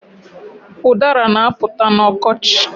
Udara na-apụta n'ọkochi